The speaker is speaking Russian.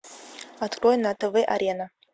открой на тв арена